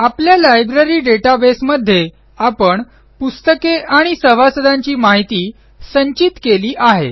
आपल्या लायब्ररी databaseमध्ये आपण पुस्तके आणि सभासदांची माहिती संचित केली आहे